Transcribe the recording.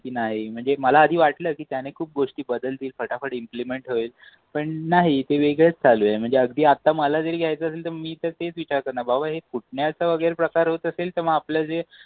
की नाही म्हणजे मला आधी वाटल कि त्याने खूप गोष्टी बदलतील फटाफट ईम्फलिमेंट होईल. पण नाही ते वेगळेच चालू आहे. म्हणजे अगदी आता मला जर घ्यायचा असेल तर मी तेच विचारणार करणार बाबा हे फुटण्याचे प्रकार जर होत आशेल न तर आपल्याशी